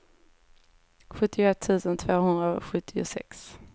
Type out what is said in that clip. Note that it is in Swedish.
sjuttioett tusen tvåhundrasjuttiosex